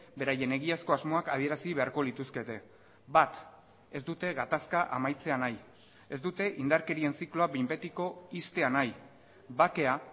beraien egiazko asmoak adierazi beharko lituzkete bat ez dute gatazka amaitzea nahi ez dute indarkerien zikloa behin betiko ixtea nahi bakea